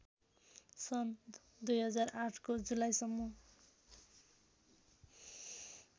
सन् २००८ को जुलाईसम्म